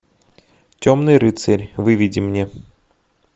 темный рыцарь выведи мне